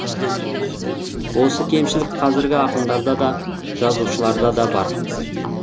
осы кемшілік қазіргі ақындарда да жазушыларда да бар